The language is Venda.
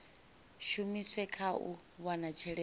shumiswe kha u wana tshelede